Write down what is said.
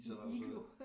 En iglo